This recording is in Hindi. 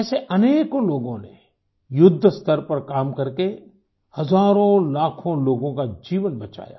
ऐसे अनेकों लोगों ने युद्धस्तर पर काम करके हज़ारोंलाखों लोगों का जीवन बचाया